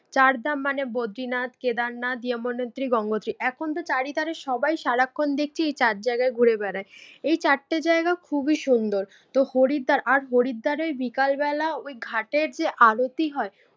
চার ধাম মানে বদ্রীনাথ, কেদারনাথ, যমুনোত্রী, গঙ্গোত্রী। এখন তো চারিধারে সবাই সারাক্ষণ দেখছি চার জায়গায় ঘুরে বেড়াই। এই ছাড়তে জায়গা খুবই সুন্দর। তো হরিদ্বার আর হরিদ্বারের বিকাল বেলা ওই ঘাটের যে আরতি হয়